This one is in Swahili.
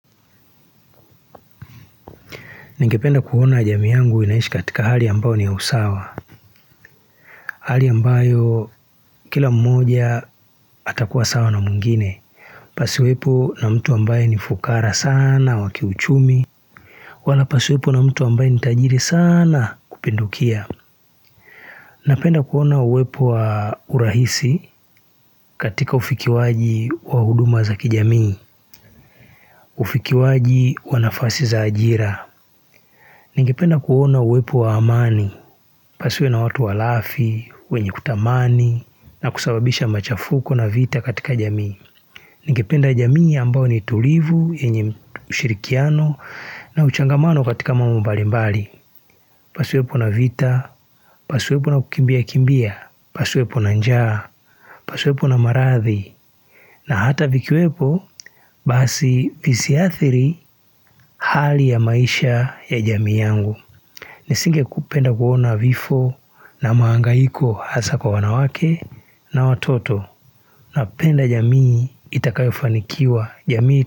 Ningependa kuona jamii yangu inaishi katika hali ambao ni ya usawa. Hali ambayo kila mmoja atakuwa sawa na mwingine. Pasiwepo na mtu ambaye ni fukara sana, wa kiuchumi. Wala pasiwepo na mtu ambaye ni tajiri sana kupindukia. Napenda kuona uwepo wa urahisi katika ufikiwaji wa huduma za kijamii. Ufikiwaji wa nafasi za ajira. Ningependa kuhona uwepo wa amani. Pasiwe na watu walafi, wenye kutamani, na kusababisha machafuko na vita katika jamii. Nikependa jamii ambao ni tulivu, yenye ushirikiano, na uchangamano katika mambo mbalimbali. Pasiwepo na vita, pasiwepo na kukimbiakimbia, pasiwepo na njaa, pasiwepo na maradhi. Na hata vikiwepo, basi visiathiri hali ya maisha ya jamii yangu. Nisingekupenda kuona vifo na maangaiko hasa kwa wanawake na watoto napenda jamii itakayofanikiwa jamii.